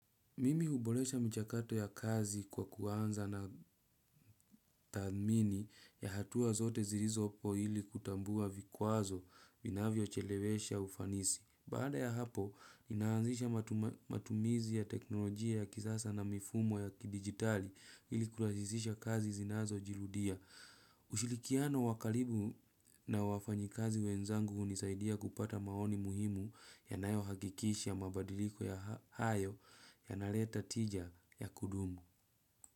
Mimi huboresha michakato ya kazi kwa kuanza na tathmini ya hatua zote zilizopo ili kutambua vikwazo vinavyochelewesha ufanisi. Baada ya hapo, inaanzisha matumizi ya teknolojia ya kisasa na mifumo ya kidigitali ili kurahisisha kazi zinazojirudia. Ushirikiano wa karibu na wafanyikazi wenzangu hunisaidia kupata maoni muhimu yanayohakikisha mabadiliko ya hayo yanaleta tija ya kudumu.